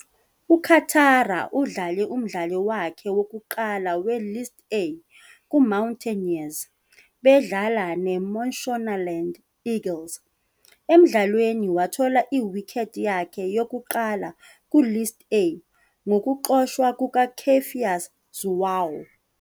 UChatara udlale umdlalo wakhe wokuqala we-List A kuMountaineers bedlala neMashonaland Eagles. Emdlalweni, wathola i-wicket yakhe yokuqala ku-List A ngokuxoshwa kukaCephas Zhuwao.